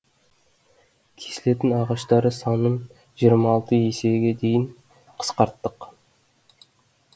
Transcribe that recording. кесілетін ағаштардың санын жиырма алты есеге дейін қысқарттық